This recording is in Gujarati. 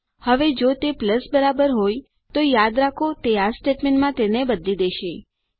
હવે જો તે પ્લસ બરાબર હોય તો યાદ રાખો તે આ સ્ટેટમેન્ટમાં તેને બદલી દેશે